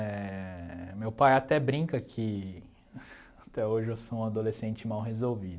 Éh... Meu pai até brinca que até hoje eu sou um adolescente mal resolvido.